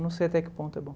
Não sei até que ponto é bom.